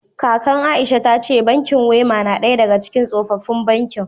Kaka Aisha ta ce bankin Wema na daya daga cikin tsofaffin bankin